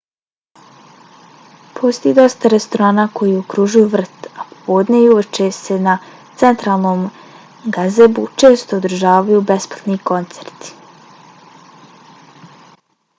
postoji dosta restorana koji okružuju vrt a popodne i uveče se na centralnom gazebu često održavaju besplatni koncerti